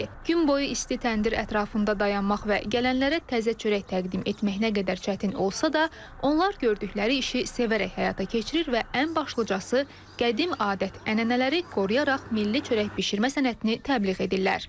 Gün boyu isti təndir ətrafında dayanmaq və gələnlərə təzə çörək təqdim etmək nə qədər çətin olsa da, onlar gördükləri işi sevərək həyata keçirir və ən başlıcası qədim adət-ənənələri qoruyaraq milli çörək bişirmə sənətini təbliğ edirlər.